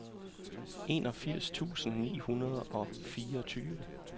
enogfirs tusind ni hundrede og fireogtyve